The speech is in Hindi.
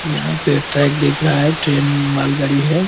यहाँ पे ट्रैक दिख रहा है ट्रैन मालगाड़ी है --